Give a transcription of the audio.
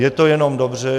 Je to jenom dobře.